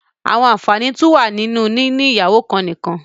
There are also benefits of having just one wife